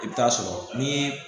I bɛ taa sɔrɔ ni